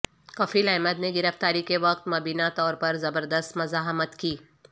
کفیل احمد نے گرفتاری کے وقت مبینہ طور پر زبردست مزاحمت کی